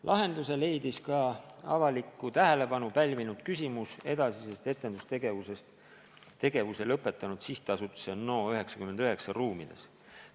Lahenduse leidis ka avalikku tähelepanu pälvinud küsimus edasisest etendustegevusest tegevuse lõpetanud Sihtasutuse NO99 ruumides.